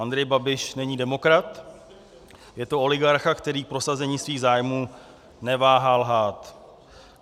Andrej Babiš není demokrat, je to oligarcha, který k prosazení svých zájmů neváhal lhát.